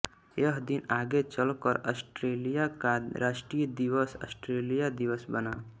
यह दिन आगे चल कर ऑस्ट्रेलिया का राष्ट्रीय दिवस ऑस्ट्रेलिया दिवस बना